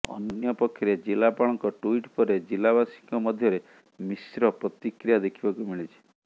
ଅନ୍ୟପକ୍ଷରେ ଜିଲ୍ଲାପାଳଙ୍କ ଟୁଇଟ ପରେ ଜିଲ୍ଲାବାସୀଙ୍କ ମଧ୍ୟରେ ମିଶ୍ର ପ୍ରତିକ୍ରିୟା ଦେଖିବାକୁ ମିଳିଛି